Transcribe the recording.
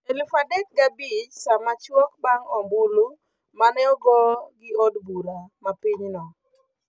Elufa dek ga bich, Sama chuok bang' ombulu maneogo gi od bura ma pinyno